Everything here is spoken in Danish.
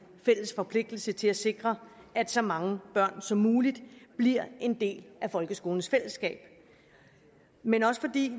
fælles forpligtelse til at sikre at så mange børn som muligt bliver en del af folkeskolens fællesskab men